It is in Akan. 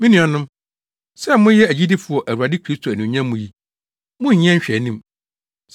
Me nuanom, sɛ moyɛ agyidifo wɔ Awurade Kristo anuonyam mu yi, monnyɛ nhwɛanim.